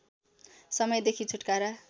समयदेखि छुटकारा